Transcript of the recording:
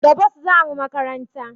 Da bus zamu makaranta